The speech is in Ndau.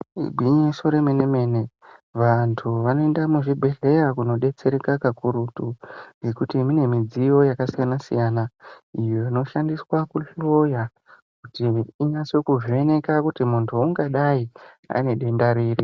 Igwinyiso remene mene vantu vanoenda kuzvibhedhlera kundibetsera kakurutu nekuti kune midziyo yakasiyana kakurutu Iyo inoshandiswa kuhloya kuti ukwanise kuvheneka kuti uyu muntu ungadai ane denda riri.